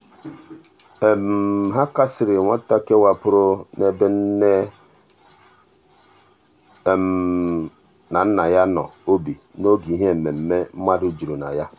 ha kasiri nwata kewapụrụ n'ebe nne kewapụrụ n'ebe nne na nna ya nọ obi n'oge ihe mmemme mmadụ juru na ya.